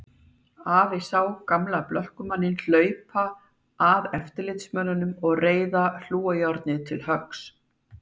Afi sá gamla blökkumanninn hlaupa að eftirlitsmönnunum og reiða hlújárnið til höggs.